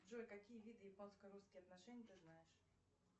джой какие виды японско русские отношения ты знаешь